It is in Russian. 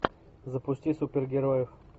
запусти супергероев